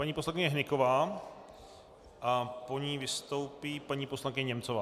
Paní poslankyně Hnyková a po ní vystoupí paní poslankyně Němcová.